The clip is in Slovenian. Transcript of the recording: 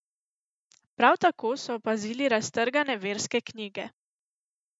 Prav tako so opazili raztrgane verske knjige.